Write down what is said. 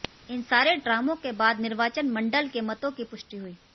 इन सारे ड्रामों के बाद निर्वाचन मंडल के मतों की पुष्टि हुई